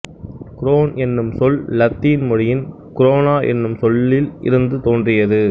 grown என்னும் சொல் Latin மொழியின் குரோனா என்னும் சொல்லில் இருந்து தொன்றியது